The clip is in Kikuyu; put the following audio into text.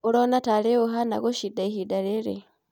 ũrona tarĩ ũũ ũhana gũcinda ihinda rĩrĩ?